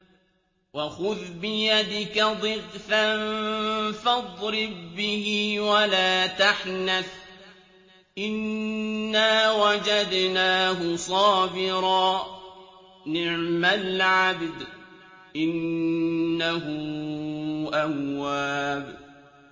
وَخُذْ بِيَدِكَ ضِغْثًا فَاضْرِب بِّهِ وَلَا تَحْنَثْ ۗ إِنَّا وَجَدْنَاهُ صَابِرًا ۚ نِّعْمَ الْعَبْدُ ۖ إِنَّهُ أَوَّابٌ